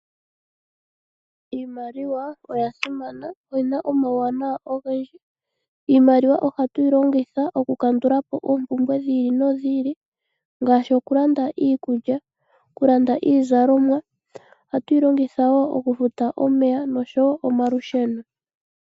Iimaliwa oya simana noyina omawuwanwa ogendji. Iimaliwa ohatuyi longitha oku kandula po oompumbwe dhi ili nodhi ili ngaashi okulanda iikulya, okulanda iizalomwa. Ohatu yi longitha wo okufuta omeya noshowo omalusheno.